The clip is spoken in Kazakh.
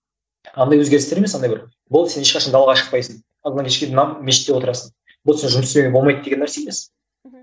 андай өзгерістер емес андай бір болды сен ешқашан далаға шықпайсың мешітте отырасың болды жұмыс істеуге болмайды деген нәрсе емес мхм